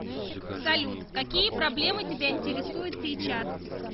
салют какие проблемы тебя интересуют сейчас